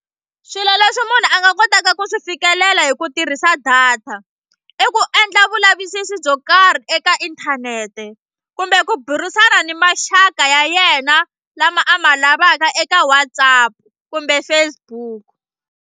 Swilo leswi munhu a nga kotaka ku swi fikelela hi ku tirhisa data i ku endla vulavisisi byo karhi eka inthanete kumbe ku burisana ni maxaka ya yena lama a ma lavaka eka WhatsApp kumbe Facebook.